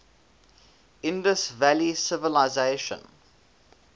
indus valley civilisation